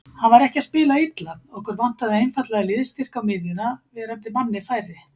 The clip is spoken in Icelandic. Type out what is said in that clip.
Hann var ekki að spila illa, okkur vantaði einfaldlega liðsstyrk á miðjuna, verandi manni færri.